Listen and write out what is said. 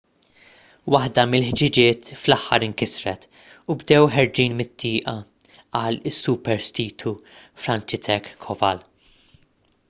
waħda mill-ħġiġiet fl-aħħar inkisret u bdew ħerġin mit-tieqa qal is-superstitu franciszek kowal